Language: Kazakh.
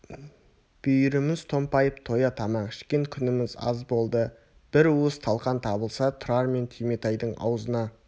бүйіріміз томпайып тоя тамақ ішкен күніміз аз болды бір уыс талқан табылса тұрар мен түйметайдың аузына